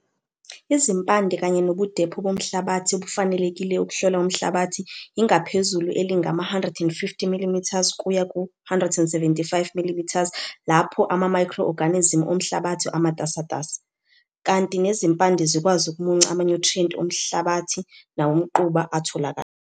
Izimpande kanye nobudepho bomhlabathi obufanelekile ukuhlola umhlabathi yingaphezulu elingama150 mm kuya ku-175 mm lapho amamayikhro-oganizimu omhlabathi amatasatasa, kanti nezimpande zikwazi ukumunca amanyuthriyenti omhlabathi nawomquba atholakalayo.